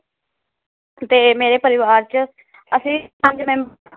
ਤੇ ਮੇਰੇ ਪਰਿਵਾਰ ਚ ਅਸੀ ਪੰਜ ਮੈਂ